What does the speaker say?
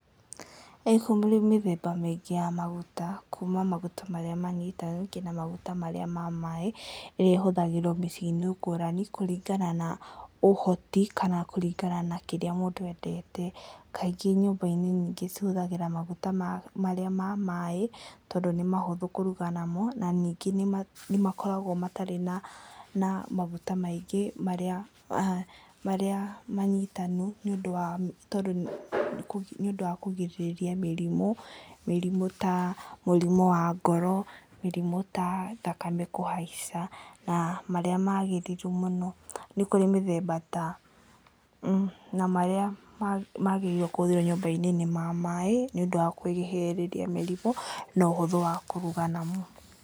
Nĩkũrĩ mĩthemba mĩingĩ ya maguta, kuuma maguta marĩa manyitanaga , nginya maguta marĩa mamaĩ, ĩrĩa ĩhũthagĩrwo mĩciĩ-inĩ ngũrani kũringana na ũhoti, kana kũringana na kĩrĩa mũndũ endete. Kaingĩ nyũmba-inĩ nyingĩ cihũthagĩra maguta marĩa mamaaĩ, tondũ nĩũhũthũ kũruga mamo, na ningĩ nĩmakoragwo matarĩ na maguta maingĩ, marĩa manyitanu, nĩ ũndũ wa kũgirĩrĩria mĩrimũ. Mĩrimũ ta mũrimo wa ngoro, mĩrimũ tathakame kũhaica, na marĩa magĩrĩru mũno. Nĩkũrĩ mĩthemba ta, na marĩa magĩrĩirwo kũhũthĩrwo nyũmba-inĩ nĩ mamaaĩ, nĩũndũ wa kũĩgĩrĩrĩria mĩrimũ na ũhũthũ wa kũruga namo.